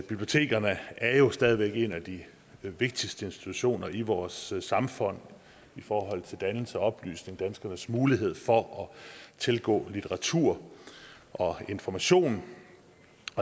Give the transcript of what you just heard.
bibliotekerne er jo stadig væk en af de vigtigste institutioner i vores samfund i forhold til dannelse og oplysning danskernes mulighed for at tilgå litteratur og information